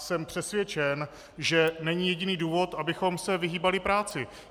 Jsem přesvědčen, že není jediný důvod, abychom se vyhýbali práci.